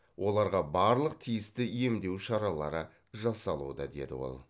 оларға барлық тиісті емдеу шаралары жасалуда деді ол